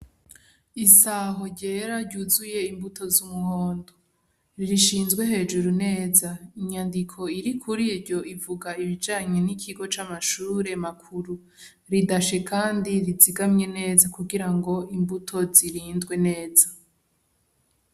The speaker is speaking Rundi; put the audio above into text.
Isaho ryera ryuzuye imbuto z’umuhondo rishinzwe hejuru neza , inyandiko iri kuriryo ivuga ibijanye n’ikigo c’amashure makuru ridashe kandi rizigamwe neza kugira imbuto zirindwe neza.